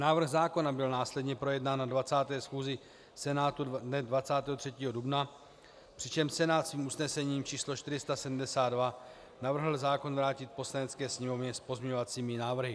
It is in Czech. Návrh zákona byl následně projednán na 20. schůzi Senátu dne 23. dubna, přičemž Senát svým usnesením č. 472 navrhl zákon vrátit Poslanecké sněmovně s pozměňovacími návrhy.